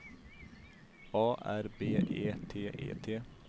A R B E T E T